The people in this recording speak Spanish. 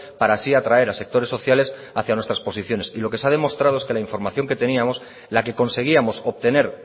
para así atraer a sectores sociales hacia nuestras posiciones y lo que se ha demostrado es que la información que teníamos la que conseguíamos obtener